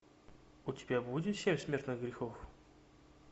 у тебя будет семь смертных грехов